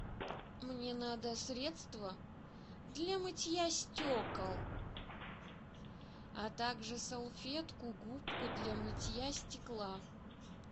мне надо средство для мытья стекол а также салфетку губку для мытья стекла